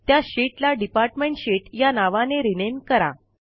त्या शीटला department sheet या नावाने रिनेम करा